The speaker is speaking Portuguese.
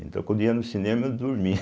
Então, quando ia no cinema, eu dormia.